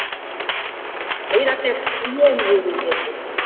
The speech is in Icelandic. Meira að segja trén voru í þeim hópi.